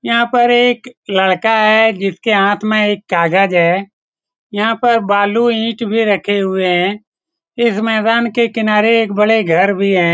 यहा पर एक लड़का है। जिसके हाथ में एक कागज है। यहा पर बालो इट भी रखे हुए है। इस मैदान के किनारे एक बड़े घर भी है।